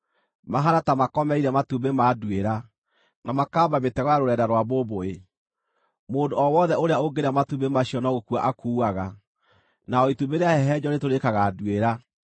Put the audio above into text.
Mahaana ta makomeire matumbĩ ma nduĩra, na makaamba mĩtego ya rũrenda rwa mbũmbũĩ. Mũndũ o wothe ũrĩa ũngĩrĩa matumbĩ macio no gũkua akuaga, na o itumbĩ rĩahehenjwo rĩtũrĩkaga nduĩra.